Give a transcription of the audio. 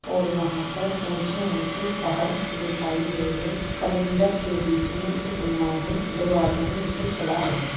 और वहाँ पर ऊंचे-ऊंचे पहाड़ दिखाए दे रहे हैं समुंदर के बीच मे एक नांव है दो आदमी उसे चला--